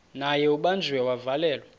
naye ubanjiwe wavalelwa